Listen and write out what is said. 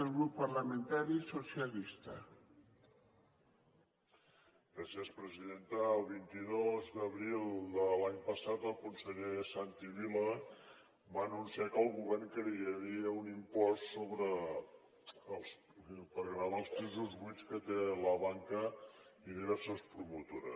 el vint dos d’abril de l’any passat el conseller santi vila va anunciar que el govern crearia un impost per gravar els pisos buits que té la banca i diverses promotores